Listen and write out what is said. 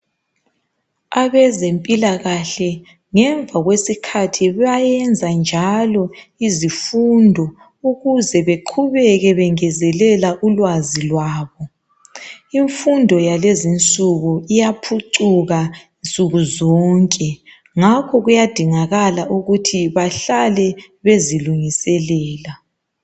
Abezempilakahle mpilakahle ngemva kwesikhathi kuyayenza njalo izifundo ukuze beqhubeke bengezelela ulwazi lwabo. Imfundo yakulezinsuku iyaphucuka nsuku zonke, ngakho kuyadingakala ukuthi bahlale bezilungiselela.